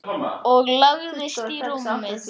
Og lagðist í rúmið.